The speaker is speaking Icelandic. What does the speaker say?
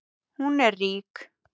Hún er rík.